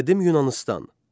Qədim Yunanıstan.